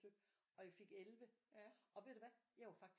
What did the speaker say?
Stykke og jeg fik 11 og ved du hvad jeg var faktisk